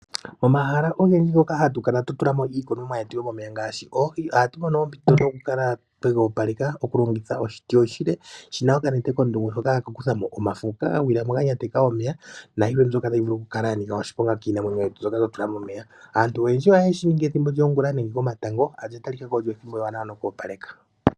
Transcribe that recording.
Omahala ogendji ngoka hatu kala tatu tulamo iikunimwa yetu yomomeya ngaashi oohi, ohatu mono ompito yokukala twega opaleka ,okulongitha oshiti oshile shina okanete kondungu shoka hashi kuthamo omafo ngoka gagwilamo ga nyateka omeya nayilwe mboka tayi vulu okukala yanika oshiponga kiinamwenyo yetu mbyoka twatula momeya. Aantu oyendji ohayeshi ningi ethimbo lyongula nenge komatango olya talikako olyoo ethimbo ewanawa noku opaleka.